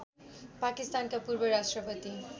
पाकिस्तानका पूर्वराष्ट्रपति